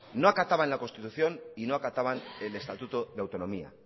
no acataban la constitución y no acataban el estatuto de autonomía